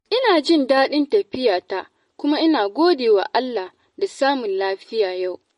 Ina jin dadin lafiyata kuma ina godewa Allah da samun lafiya yau.